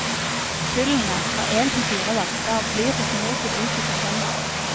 Kullene, fra én til fire hvalper, blir hos mor til ut i september.